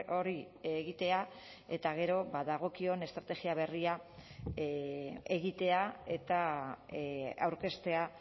hori egitea eta gero dagokion estrategia berria egitea eta aurkeztea